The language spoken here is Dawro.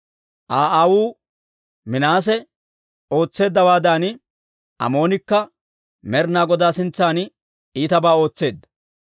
Aa aawuu Minaase ootseeddawaadan, Amoonikka Med'ina Godaa sintsan iitabaa ootseedda.